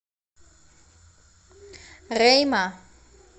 рейма